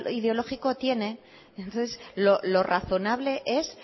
ideológico tiene entonces lo razonable es